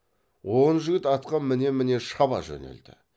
он жігіт атқа міне міне шаба жөнелді